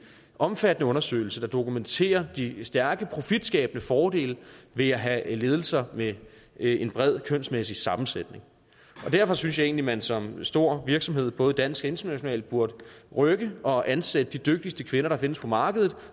omfattende undersøgelse der dokumenterer de stærke profitskabende fordele ved at have ledelser med en bred kønsmæssig sammensætning og derfor synes jeg man som stor virksomhed både dansk og international burde rykke og ansætte de dygtigste kvinder der findes på markedet